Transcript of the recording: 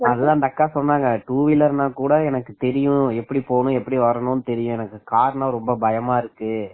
அதான் அந்த அக்கா சொன்னாங்க டூவீலர் நான் கூட எனக்கு தெரியும் எப்படி போனும் எப்படி வரணும்னு எனக்கு தெரியும் காரணம் ரொம்ப பயமா இருக்கு